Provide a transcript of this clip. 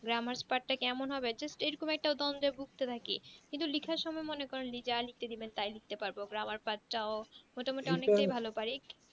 grammar part এমন হবে just এ রকম একটা উদহারণ থেকে ভুক্ত থাকি কিন্তু লেখার সময় মনে করেন যা লিখতে দিবেন তাই লিখতে পারবো grammar part পাঁচ টাও মোটা মটি অনেকটা ভালো পারি